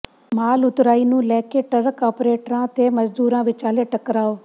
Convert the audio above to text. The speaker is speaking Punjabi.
ਮਾਲ ਉਤਰਾਈ ਨੂੰ ਲੈ ਕੇ ਟਰੱਕ ਆਪ੍ਰੇਟਰਾਂ ਤੇ ਮਜ਼ਦੂਰਾਂ ਵਿਚਾਲੇ ਟਕਰਾਅ